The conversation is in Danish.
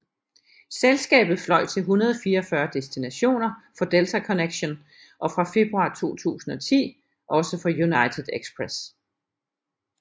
Selskabet fløj til 144 destinationer for Delta Connection og fra februar 2010 også for United Express